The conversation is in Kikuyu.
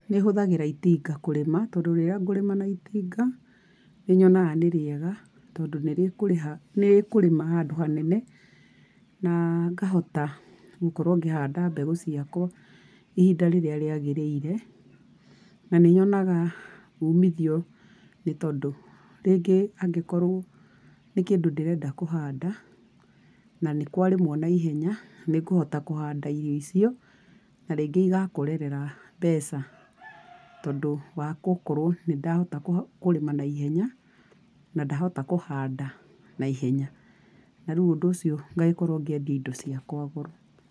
Nĩ hũthagĩra itinga kũrĩma tondũ rĩrĩa ngũrĩma na itinga, nĩ nyonaga nĩ rĩega tondũ nĩ rĩkũrĩha, nĩ rĩkũkũrĩma handũ hanene, na ngahota gũkorwo ngĩhanda mbeũ ciakwa ihinda rĩrĩa rĩagĩrĩire. Na nĩ nyonaga umithio nĩ tondũ, rĩngĩ angĩkorũo nĩ kĩndũ ndĩrenda kũhanda na nĩ kwarĩmũo naihenya, ni ngũhota kũhanda irio icio na rĩngĩ igakorerera mbeca tondũ wa gũkorwo nĩ ndahota kũrĩma naihenya na kũhanda naihenya. Na rĩu ũndũ ũcio ngagĩkorwo ngiendia indo ciakwa goro.